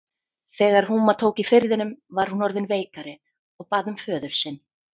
Þegar húma tók í firðinum var hún orðin veikari og bað um föður sinn.